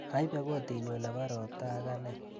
Aipe kotinyu nebo ropta ang ane